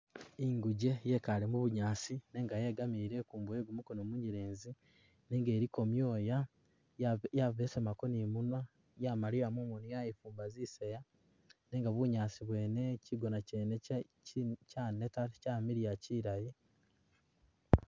Inguje yekaale mu bunyaasi nenga yegamiile ikuumbo ye gumukono munyelezi nenga iliko myoya yabe, yabesemako ni i'munwa, yamaliya mumoni yaifumba zisaya nenga bunyaasi bwene, kigona kyene kye kya kyaneta kyamiliya kilayi.